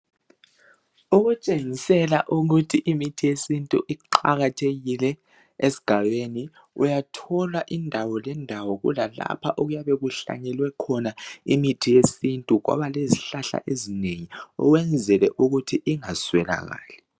Okutshengisela ukuthi imithi yesintu iqakathekile esigabeni uyathola indawo lendawo kulalapha okuyabe kuhlanyelwe khona imithi yesintu kwaba lezihlala ezinengi ukwenzela ukuthi ingaswelakali.